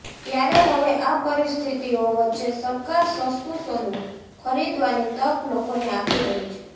ત્યારે હવે આ પરિસ્થિતિઓ વચ્ચે સરકાર સસ્તું સોનું ખરીદવાની તક લોકોને આપી રહી છે